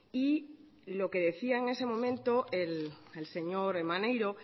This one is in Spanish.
y lo que decía en ese momento el señor maneiro